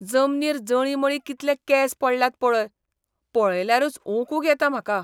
जमनीर जळींमळीं कितले केंस पडल्यात पळय. पळयल्यारूच ओंकूंक येता म्हाका.